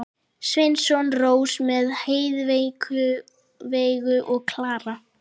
Sveinsson, Rósa með Heiðveigu og Klara.